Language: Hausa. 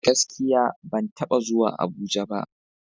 Gaskiya! Ban taba zuwa Abuja ba.